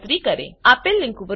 આ લીંક પર ઉપલબ્ધ વિડીયો જુઓ